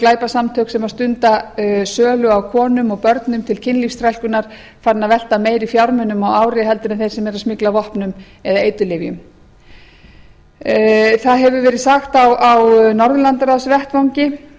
glæpasamtök sem stunda sölu á konum og börnum til kynlífsþrælkunar farin að velta meiri fjármunum á ári en þeir sem eru að smygla vopnum eða eiturlyfjum það hefur verið sagt á